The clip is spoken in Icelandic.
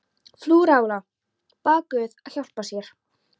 Frú Lára bað guð að hjálpa sér.